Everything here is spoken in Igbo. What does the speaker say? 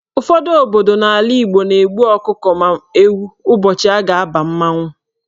Ụfọdụ obodo n'ala Igbo na-egbu ọkụkọ ma ewu ụbọchị a ga-aba mmanwụ.